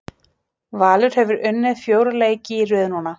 Valur hefur unnið fjóra leiki í röð núna.